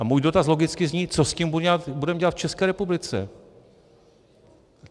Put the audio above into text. A můj dotaz logicky zní: Co s tím budeme dělat v České republice?